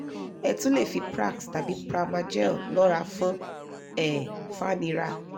ẹ tún le fi prax tàbí pramagel lọrà fún um fàníra